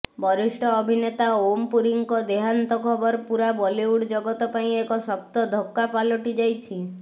ବରିଷ୍ଠ ଅଭିନେତା ଓମ୍ ପୁରୀଙ୍କ ଦେହାନ୍ତ ଖବର ପୂରା ବଲିଉଡ ଜଗତ ପାଇଁ ଏକ ଶକ୍ତ ଧକ୍କା ପାଲଟିଯାଇଛି